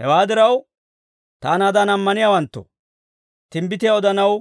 Hewaa diraw, taanaadan ammaniyaawanttoo, timbbitiyaa odanaw